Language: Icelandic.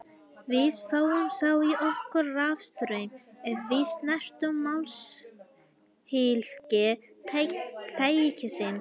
Við fáum þá í okkur rafstraum ef við snertum málmhylki tækisins.